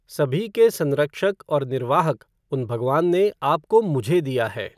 सभी के संरक्षक और निर्वाहक, उन भगवान ने आपको मुझे दिया है।